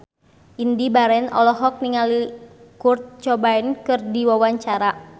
Indy Barens olohok ningali Kurt Cobain keur diwawancara